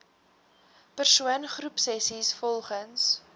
persoon groepsessies volgens